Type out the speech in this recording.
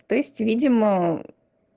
то есть видимо